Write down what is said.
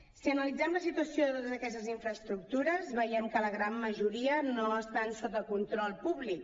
si analitzem la situació de totes aquestes infraestructures veiem que la gran majoria no estan sota control públic